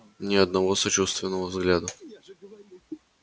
ни одного сочувственного взгляда